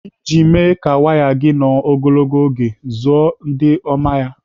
Iji mee ka waya gị nọ ogologo oge, zụọ ndị oma ya.